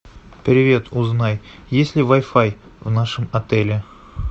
привет узнай есть ли вай фай в нашем отеле